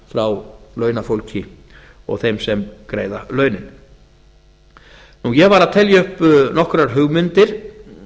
frá launafólki og þeim sem greiða launin ég var að telja upp nokkrar hugmyndir